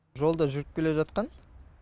жолда жүріп келе жатқан